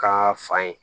Ka fa ye